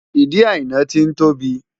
Ìdí Àìná ti ń tóbi.